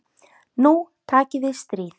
Nú taki við stríð.